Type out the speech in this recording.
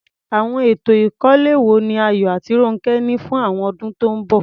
Àwọn ètò ìkọ́lé wo ni Ayo àti Ronke ní fún àwọn ọdún tó ń bọ̀?